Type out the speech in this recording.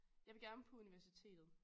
Jeg vil gerne på universitetet